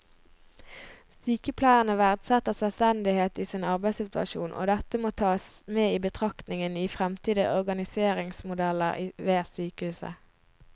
Sykepleierne verdsetter selvstendighet i sin arbeidssituasjon, og dette må tas med i betraktningen i fremtidige organiseringsmodeller ved sykehuset.